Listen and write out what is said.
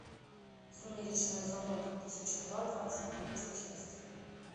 сумеречная зона две тысячи два двадцать третья часть